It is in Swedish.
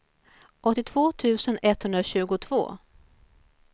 åttiotvå tusen etthundratjugotvå